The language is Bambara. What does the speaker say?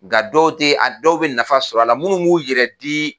Nka dɔw tɛ a dɔw bɛ nafa sɔrɔ a la minnu b'u yɛrɛ di.